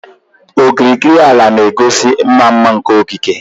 Okirikiri ala na-egosi ịma mma nke okike.